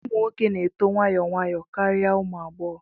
Ụmụ nwoke na-eto nwayọọ nwayọọ karịa ụmụ agbọghọ